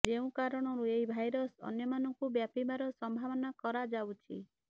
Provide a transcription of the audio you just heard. ଯେଉଁ କାରଣରୁ ଏହି ଭାଇରସ୍ ଅନ୍ୟମାନଙ୍କୁ ବ୍ୟାପିବାର ସମ୍ଭାବନା କରାଯାଉଛି